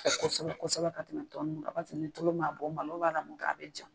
kosɛbɛ kosɛbɛ ka tɛmɛ tɔ ninnu kan paseke ni tulu m'a bɔ malo b'a la min kɛ a bɛ ja.